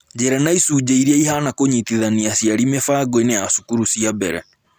Njĩra na Icunjĩ Iria Ihaana cia Kũnyitithania Aciari Mĩbango-inĩ ya Cukuru cia Mbere